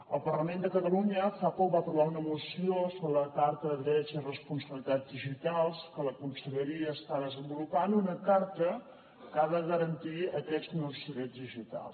el parlament de catalunya fa poc va aprovar una moció sobre la carta de drets i responsabilitats digitals que la conselleria està desenvolupant una carta que ha de garantir aquests nous drets digitals